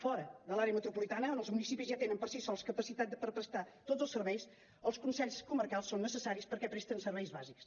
fora de l’àrea metropolitana on els municipis ja tenen per si sols capacitat per prestar tots els serveis els consells comarcals són necessaris perquè presten serveis bàsics